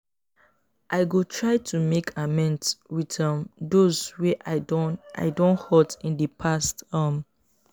i go try to make amends with um those wey i don i don hurt in the past. um